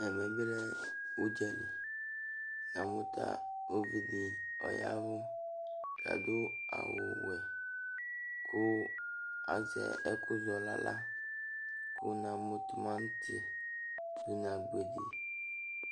ɛvɛ bi lɛ udza li, namu ta uvi di ɔyavu ku adu awu wɛ, ku ɛzɛ ɛku ɔlala , ku na mu tumanti nu agbedi